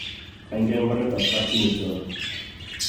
Kaingian mbaretab kapchimi tiondo